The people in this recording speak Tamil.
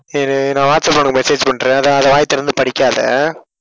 இரு நான் வாட்ஸ்ஆப்ல உனக்கு message பண்றேன். அதை வாயை திறந்து படிக்காத.